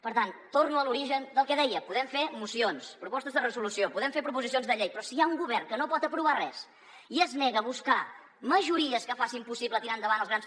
per tant torno a l’origen del que deia podem fer mocions propostes de resolució podem fer proposicions de llei però si hi ha un govern que no pot aprovar res i es nega a buscar majories que facin possible tirar endavant els grans